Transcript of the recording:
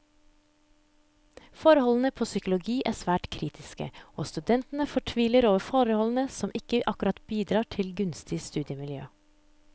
Forholdene på psykologi er svært kritiske, og studentene fortviler over forholdene som ikke akkurat bidrar til et gunstig studiemiljø.